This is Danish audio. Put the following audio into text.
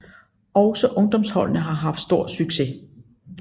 Også ungdomsholdene har haft stor succes